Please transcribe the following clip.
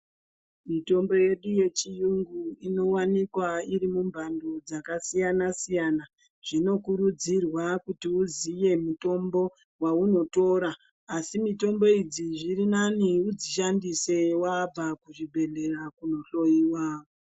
Mitombo yedu yechiyungu inowanikwa iri mumbando dzakasiyana siyana. Zvinokurudzirwa kuti uziye mutombo waunotora. Asi mitombo idzi zviri nani udzishandise wabva kuchibhedhlera kunohloyiwa.